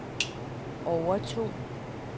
overtog